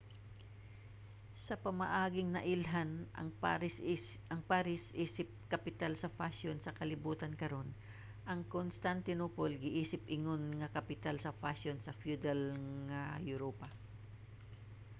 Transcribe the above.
sa pamaaging nailhan ang paris isip kapital sa fashion sa kalibutan karon ang constantinople giisip ingon nga kapital sa fashion sa feudal nga europa